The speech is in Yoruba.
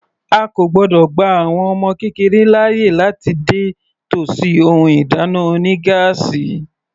A kò gbọ́dọ̀ gba àwọn ọmọ kékeré láàyè láti dé tòsí ohun ìdáná oní gáásì.